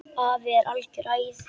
Afi er algert æði.